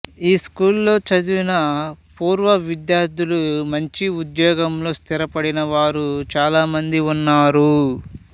ఈ స్కూల్ లో చదివిన పూర్వ విద్యార్థులు మంచి ఉద్యోగంలో స్థిరపడిన వారు చాల మంది ఉన్నారు